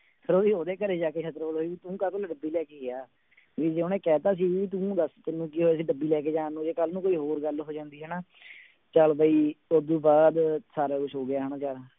ਫਿਰ ਉਹਦੀ ਉਹਦੇ ਘਰੇ ਜਾ ਕੇ ਸਿਤਰੋਲ ਹੋਈ ਵੀ ਤੁੰ ਕਾਹਤੋਂ ਡੱਬੀ ਲੈ ਕੇ ਗਿਆ, ਵੀ ਜੇ ਉਹਨੇ ਕਹਿ ਦਿੱਤਾ ਸੀ ਵੀ ਤੂੰ ਦੱਸ ਤੈਨੂੰ ਕੀ ਹੋਇਆ ਸੀ ਡੱਬੀ ਲੈ ਕੇ ਜਾਣ ਨੂੰ, ਜੇ ਕੱਲ੍ਹ ਨੂੰ ਕੋਈ ਹੋਰ ਗੱਲ ਹੋ ਜਾਂਦੀ ਹਨਾ ਚੱਲ ਬਈ ਉਹ ਤੋਂ ਬਾਅਦ ਸਾਰਾ ਕੁਛ ਹੋ ਗਿਆ ਹਨਾ ਜਾ